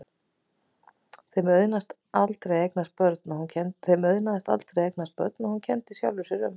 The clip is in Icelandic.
Þeim auðnaðist aldrei að eignast börn og hún kenndi sjálfri sér um.